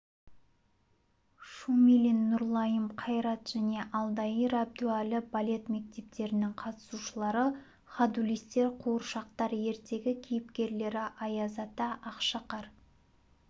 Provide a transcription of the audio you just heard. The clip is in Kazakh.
шумилин нұрлайым қайрат және алдияр әбдуәлі балет мектептерінің қатысушылары ходулистер қуыршақтар ертегі кейіпкерлері аяз-ата ақшақар